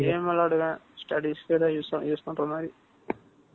game விளையாடுவேன். Studies க்கு ஏதாவது use பண்ற மாதிரி